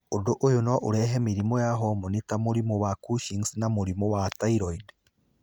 Ũndũ ũyũ no ũrehe mĩrimũ ya homoni ta mũrimũ wa Cushing's na mũrimũ wa thyroid.